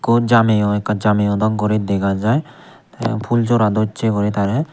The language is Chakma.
ikko jameyo oi ikka jameyo dok guri dega jay tey pulsora dossey guri tarey.